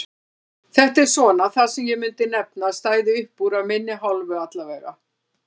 Þetta er svona það sem ég myndi nefna að stæði uppúr af minni hálfu allavega.